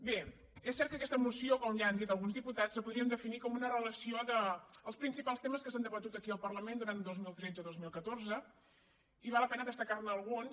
bé és cert que aquesta moció com ja han dit alguns diputats la podríem definir com una relació dels principals temes que s’han debatut aquí al parlament durant dos mil tretze i dos mil catorze i val la pena destacar ne alguns